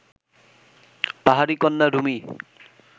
পাহাড়ি কন্যা রুমি